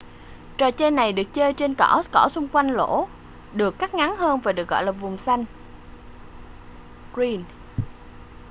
trò chơi này được chơi trên cỏ cỏ xung quanh lỗ được cắt ngắn hơn và được gọi là vùng xanh green